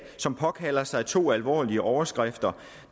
som påkalder sig to alvorlige overskrifter